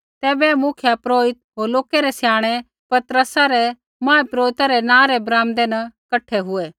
तैबै मुख्यपुरोहिता होर लोकै रै स्याणै पतरसा रै महापुरोहिता रै नाँ रै बरामदै न कठा हुऐ